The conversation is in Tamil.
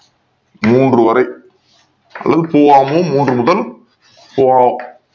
மூன்று வரை மூன்று முதல்